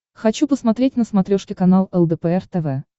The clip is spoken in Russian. хочу посмотреть на смотрешке канал лдпр тв